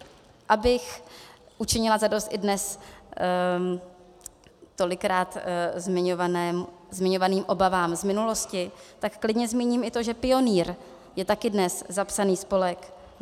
Abych učinila zadost i dnes tolikrát zmiňovaným obavám z minulosti, tak klidně zmíním i to, že Pionýr je taky dnes zapsaný spolek.